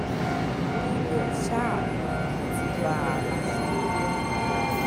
ibẹ̀ ṣáá ni mo ti bá a láṣepọ̀